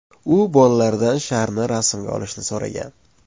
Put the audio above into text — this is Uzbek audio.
U bolalaridan sharni rasmga olishni so‘ragan.